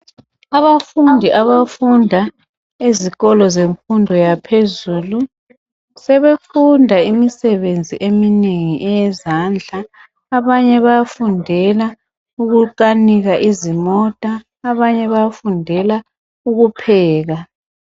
Abafundi abafunda ezikolo zemfundo yaphezulu sebefunda imisebenzi eminengi eyezandla abanye bayafundela ukukanika izimota abanye bayafundela ukupheka.